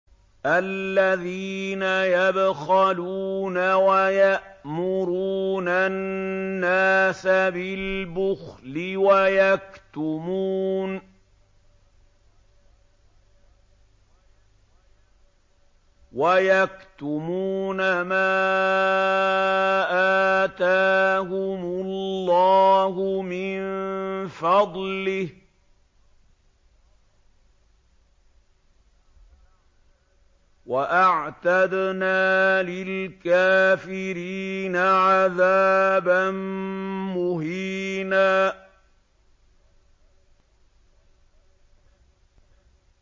الَّذِينَ يَبْخَلُونَ وَيَأْمُرُونَ النَّاسَ بِالْبُخْلِ وَيَكْتُمُونَ مَا آتَاهُمُ اللَّهُ مِن فَضْلِهِ ۗ وَأَعْتَدْنَا لِلْكَافِرِينَ عَذَابًا مُّهِينًا